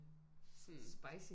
Sådan spicy